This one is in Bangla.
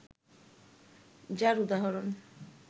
যার উদাহরণ